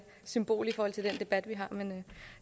symbolsk i forhold til den debat vi har men